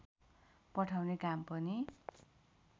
पठाउने काम पनि